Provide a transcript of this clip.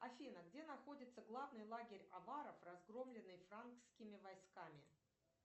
афина где находится главный лагерь абаров разгромленный франскими войсками